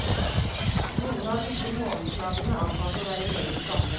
Noen av disse månedsnavnene antas å være meget gamle.